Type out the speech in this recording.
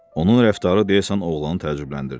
Onun rəftarı deyəsən oğlanı təəccübləndirdi.